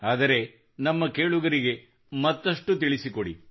ಆದರೆ ನಮ್ಮ ಕೇಳುಗರಿಗೆ ಮತ್ತಷ್ಟು ತಿಳಿಸಿಕೊಡಿ